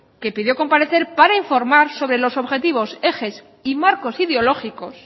que pidió comparecer para informar sobre los objetivos ejes y marcos ideológicos